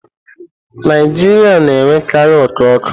Naijiria na-enwekarị oku ọkụ.